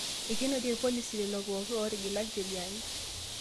Eikonoitie irpolisi lelopooki ootigila njeriani